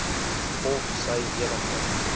of sy enige